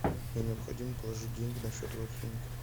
мне необходимо положить деньги на счет родственнику